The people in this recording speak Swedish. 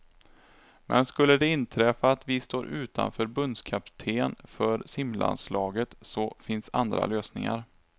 Men skulle det inträffa att vi står utan förbundskapten för simlandslaget så finns andra lösningar.